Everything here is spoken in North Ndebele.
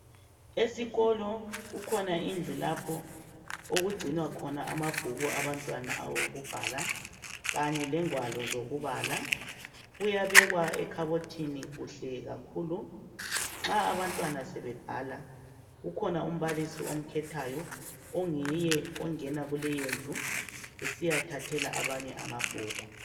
Esikolo kukhona indlu lapho okugcinwa khona amabhuku abantwana okubhala, kanye lengwalo zokubala. Kuyabekwa ekhabothini, kuhle kakhulu. Nxa sekubhalwa, ukhona umbalisi, amkhethayo. Onguye ongena kuleyondpu, esiyathathela abanye amabhuku.